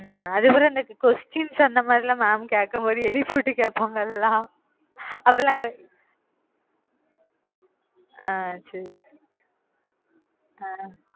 உம் அதுக்கப்புறம் எனக்கு questions அந்த மாதிரி எல்லாம் mam கேட்கும்போது எழுப்பிவிட்டு கேட்பாங்கல அதெல்லாம் ஆஹ் சரி அஹ்